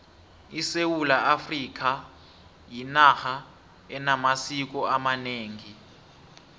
isewula afrikha yinarha enamasiko amanengi